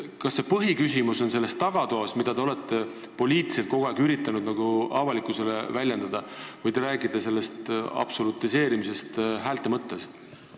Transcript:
Kas põhiküsimus on selles tagatoas, millest te olete poliitiliselt kogu aeg üritanud avalikkusele rääkida, või te räägite absolutiseerimisest häälte mõttes?